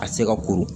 A tɛ se ka koron